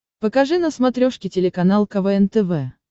покажи на смотрешке телеканал квн тв